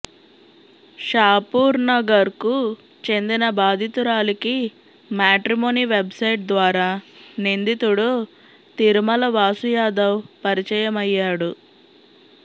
షాపూర్నగర్కు చెందిన బాధితురాలికి matrimony website ద్వారా నిందితుడు తిరుమల వాసు యాదవ్ పరిచయమయ్యాడు